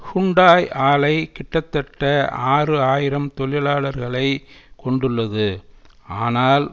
Hyundai ஆலை கிட்டத்தட்ட ஆறு ஆயிரம் தொழிலாளர்களை கொண்டுள்ளது ஆனால்